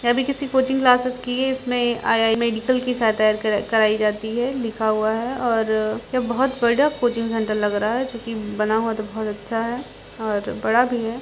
ये भी किसी कोचिंग क्लासेस की है इसमें आई आई मेडिकल की शायद तैयारी कर कराई जाती है लिखा हुआ है और यह बहुत बड़ा कोचिंग सेंटर लग रहा है जो की बना हुआ तो बहुत अच्छा है और बड़ा भी है।